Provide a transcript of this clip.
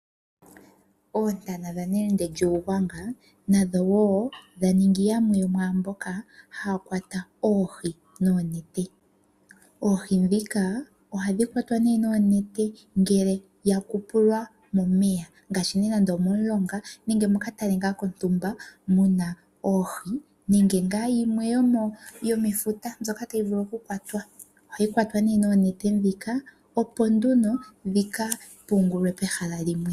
Oontanga dha nelendele lyUugwanga nadho dha ningi yamwe yo mwaa mboka haya kwata oohi noonete. Oohi ndhika ohadhi kwatwa noonete ngele yu umbilwa momeya ngaashi momulonga nenge mokatale kontumba mu na oohi nenge yimwe yomefuta mbyoka tayi vulu okukwatwa. Ohayi kwatwa nduno noonete, opo yi ka pungulwe pehala liwe.